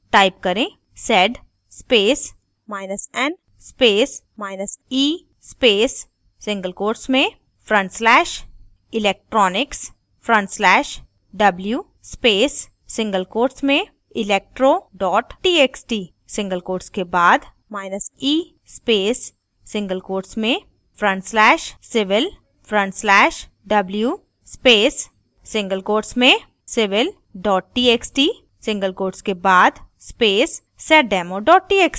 type करें: sed spacen spacee space single quotes में front slash /electronics/w space single quotes में electro txt single quotes के बाद e space single quotes में front slash /civil/w space single quotes में civil txt single quotes के बाद space seddemo txt